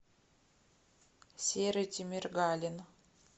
серый тимиргалин